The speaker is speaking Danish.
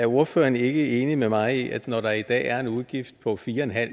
ordføreren ikke er enig med mig i at når der i dag er en udgift på fire